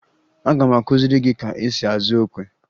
Aga m akụziri gị ka esi azụ okwe